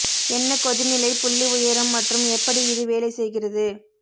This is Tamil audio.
என்ன கொதிநிலை புள்ளி உயரம் மற்றும் எப்படி இது வேலை செய்கிறது